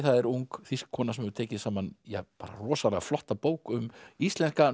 það er ung kona sem hefur tekið saman rosalega flotta bók um íslenska